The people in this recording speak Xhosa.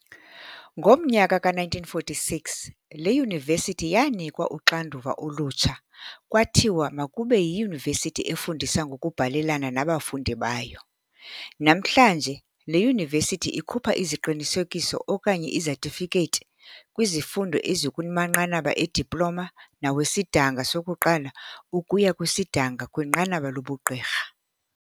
Ngomnyaka ka-1946, le yunivesithi yaanikwa uxanduva olutsha kwathiwa makube yiyunivesithi efundisa ngokubhalelana nabafundi bayo. Nanhlanje le Yunivesithi ikhupha iziqinisekiso okanye izetifikethi kwizifundo ezikumanqanaba e-diploma nawesidanga sokuqala ukuya kwisidanga kwinqaba lobuGqirha.